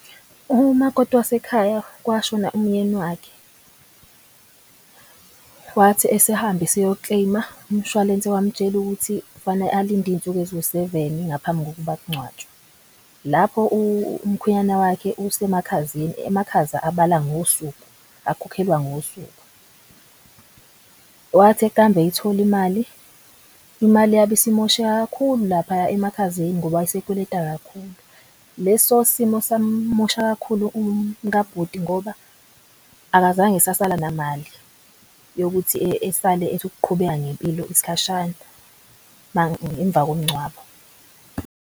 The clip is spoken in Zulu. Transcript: Umakoti wasekhaya kwashona umyeni wakhe wathi esehamba eyo-claim-a umshwalense wamtshela ukuthi kufane alinde iy'nsuku eziwu seveni ngaphambi kokuba kungcwatshwe. Lapho umkhwenyana wakhe use emakhazeni, emakhaza abala ngosuku akhokhelwa ngosuku. Wathi ekambe eyithola imali, imali yabe isimosheke kakhulu laphaya emakhazeni ngoba wayesekweleta kakhulu. Leso simo sam'mosha kakhulu umka bhuti ngoba akazange esasala namali yokuthi esale ethi ukuqhubeka ngempilo isikhashana emva komngcwabo.